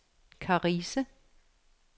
Karise